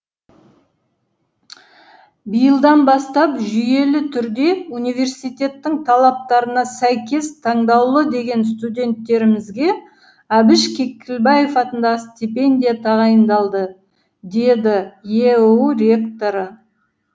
биылдан бастап жүйелі түрде университеттің талаптарына сәйкес таңдаулы деген студенттерімізге әбіш кекілбаев атындағы стипендия тағайындалды деді еұу ректоры